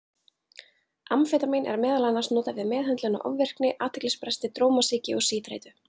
Amfetamín er meðal annars notað við meðhöndlun á ofvirkni og athyglisbresti, drómasýki og síþreytu.